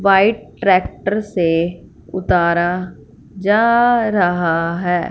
White tractor से उतारा जा रहा है।